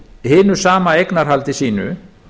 hinu sama eignarhaldi sínu